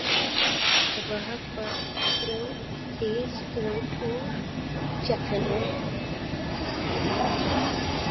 Þeir voru að höggva til grjót úr fjallinu.